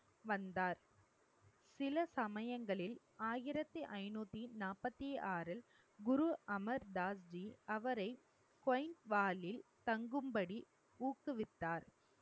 வந்தார் சில சமயங்களில் ஆயிரத்தி ஐநூத்தி நாற்பத்தி ஆறு குரு அமர் தாஸ்ஜி அவரை தங்கும்படி ஊக்குவித்தார்